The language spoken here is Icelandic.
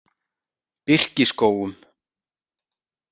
Birkiskógum